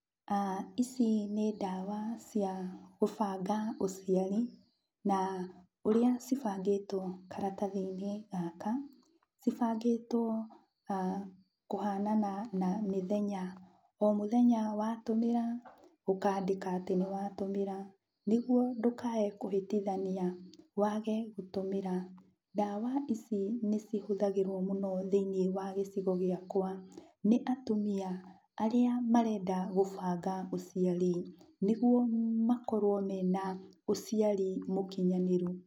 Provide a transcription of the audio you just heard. Ici nĩ ndawa cia gũbanga ũciari, na ũrĩa cibangĩtwo karatathi-inĩ gaka cibangĩtwo kũhanana na mĩthenya. O mũthenya watũmĩra, ũkandĩka atĩ nĩwatũmĩra nĩguo ndũkae kũhĩtithania wage gũtũmĩra. Ndawa ici nĩcihũthagĩrwo mũno thĩiniĩ wa gĩcigo gĩakwa nĩ atumia arĩa marenda gũbanga ũciari, nĩguo makorwo mena ũciari mũkinyanĩru.